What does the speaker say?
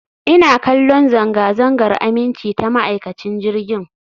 Ina kallon zanga-zangar aminci ta ma'aikacin jirgin